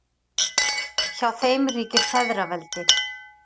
hjá þeim ríkir feðraveldi